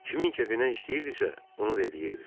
Kimin kefinə istəyirdisə, onu da eləyirdi.